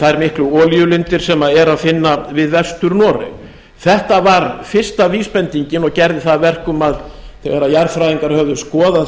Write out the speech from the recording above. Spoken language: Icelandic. þær miklu olíulindir sem er að finna við vestur noreg þetta var fyrsta vísbendingin og gerði það að verkum að þegar jarðfræðingar höfðu skoðað